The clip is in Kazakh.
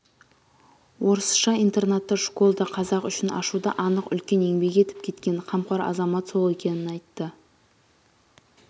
орысша интернатты школды қазақ үшін ашуда анық үлкен еңбек етіп кеткен қамқор азамат сол екенін айтты